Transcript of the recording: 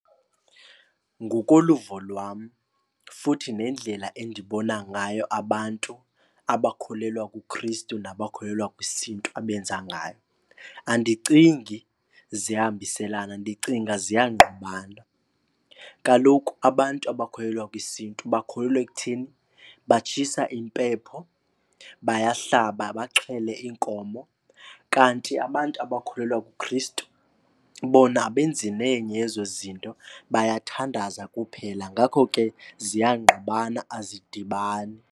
Ngokoluvo lwam futhi nendlela endibona ngayo abantu abakholelwa kuKristu nabakholelwa kwisiNtu abenza ngayo, andicingi ziyahambiselana. Ndicinga ziyangqubana. Kaloku abantu abakholelwa kwisiNtu bakholelwa ekuthini batshisa impepho, bayahlaba, baxhele iinkomo. Kanti abantu abakholelwa kuKristu bona abenzi nenye yezo zinto, bayathandaza kuphela. Ngakho ke ziyangqubana, azidibani.